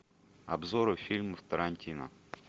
обзоры фильмов тарантино